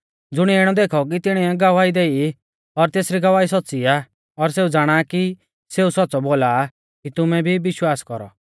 ज़ुणिऐ इणौ देखौ तिणीऐ गवाही देई और तेसरी गवाही सौच़्च़ी आ और सेऊ ज़ाणा आ कि सेऊ सौच़्च़ौ बोला आ कि तुमै भी विश्वास कौरौ